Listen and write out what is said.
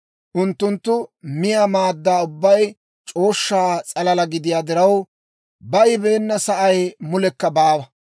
Unttunttu miyaa maadda ubbay c'ooshsha s'alalaa gidiyaa diraw, baybeena sa'ay mulekka baawa.